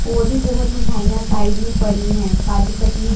और भी बहुत मिठाइयां साइड में पड़ी हैं काजू कतली।